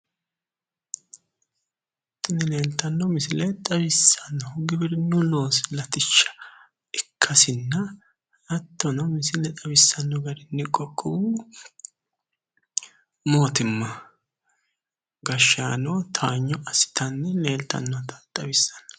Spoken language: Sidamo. Tini leeltanno misile xawissannohu giwirinnu loosi latishsha ikkasinna hattono misile xawissanno garinni qoqqowu mootimma gashshaano towanyo assitanni leeltannota xawissanno.